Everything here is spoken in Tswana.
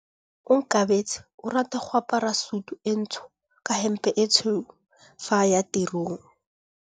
Onkabetse o rata go apara sutu e ntsho ka hempe e tshweu fa a ya tirong.